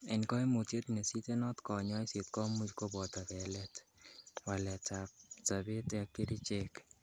En koimutiet nesitenot konyoiset komuch koboto belet, waleatb abset ak kerichek .